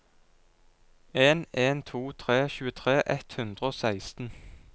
en en to tre tjuetre ett hundre og seksten